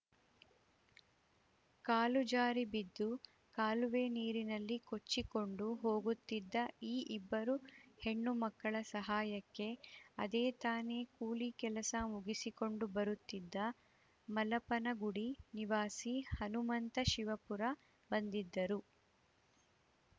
ಕಾಲು ಜಾರಿ ಬಿದ್ದು ಕಾಲುವೆ ನೀರಿನಲ್ಲಿ ಕೊಚ್ಚಿಕೊಂಡು ಹೋಗುತ್ತಿದ್ದ ಈ ಇಬ್ಬರು ಹೆಣ್ಣು ಮಕ್ಕಳ ಸಹಾಯಕ್ಕೆ ಅದೇ ತಾನೆ ಕೂಲಿ ಕೆಲಸ ಮುಗಿಸಿಕೊಂಡು ಬರುತ್ತಿದ್ದ ಮಲಪನಗುಡಿ ನಿವಾಸಿ ಹನುಮಂತ ಶಿವಪುರ ಬಂದಿದ್ದರು